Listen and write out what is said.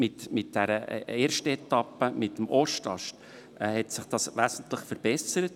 Mit der ersten Etappe, mit dem Ostast, hat sich das wesentlich verbessert.